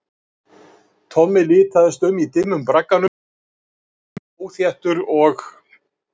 Tommi litaðist um í dimmum bragganum, hann var greinilega óþéttur og